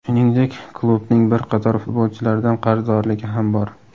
Shuningdek, klubning bir qator futbolchilardan qarzdorligi ham bor.